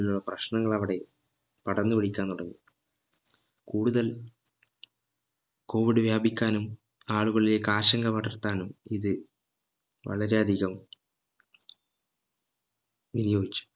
ഉള്ള പ്രശ്നങ്ങൾ അവിടെ പടർന്ന് പിടിക്കാൻ തുടങ്ങി കൂടുതൽ COVID വ്യാപിക്കാനും ആളുകളിലേക്ക് ആശങ്ക പടർത്താനും ഇത് വളരെ അധികം വിനിയോഗിച്ചു